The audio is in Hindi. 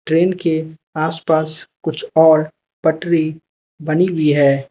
ट्रेन के आस पास कुछ और पटरी बनी हुई है।